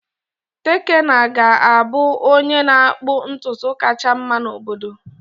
Tekena ga-abụ onye na-akpụ ntutu kachasị mma n'obodo.